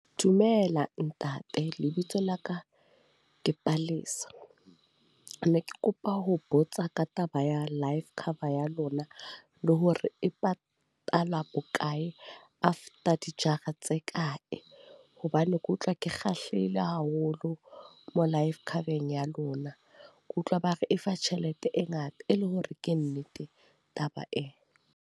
Dumela ntate. Lebitso la ka ke Palesa. Ne ke kopa ho botsa ka taba ya life cover ya lona, le hore e patala bokae? After dijara tse kae? Hobane ke utlwa ke kgahlehile haholo, mo life cover-eng ya lona. Ke utlwa ba re e fa tjhelete e ngata, e le hore ke nnete taba ee?